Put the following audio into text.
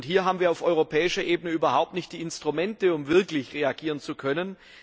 Hier haben wir auf europäischer Ebene überhaupt nicht die Instrumente, um wirklich reagieren zu können.